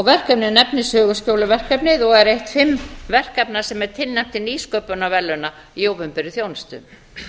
verkefnið nefnist söguskjóluverkefnið og er eitt fimm verkefna sem er tilnefnt til nýsköpunarverðlauna í opinberri þjónustu